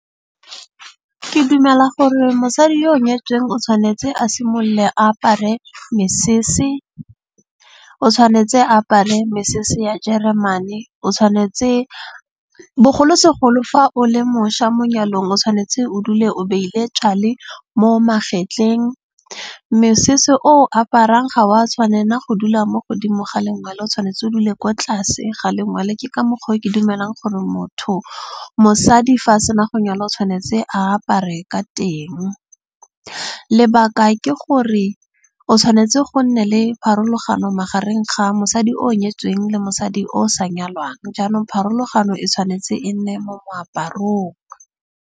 Ke dumela gore mosadi yo o nyetsweng o tshwanetse a simolole a apare mesese. O tshwanetse a apare mesese ya jeremane. O tshwanetse bogolosegolo fa o le mošwa mo nyalong o tshwanetse o dule o beile tjale mo magetleng. Mesese o aparang ga wa tshwanela go dula mo godimo ga lengwele o tshwanetse o dule ko tlase ga lengwele. Ke ka mokgwa o ke dumelang gore motho, mosadi fa a sena go nyala o tshwanetse a apare ka teng. Lebaka ke gore o tshwanetse go nne le pharologano magareng ga mosadi o nyetsweng le mosadi o sa nyalwang. Jaanong pharologano e tshwanetse e nne mo moaparong.